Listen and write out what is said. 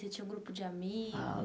Você tinha um grupo de amigos?